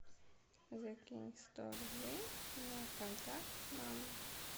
закинь сто рублей на контакт мама